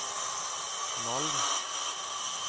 Malm